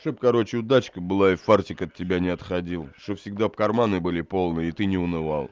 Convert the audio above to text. чтоб короче удачка была и фартик от тебя не отходил что всегда бы карманы были полные и ты не унывал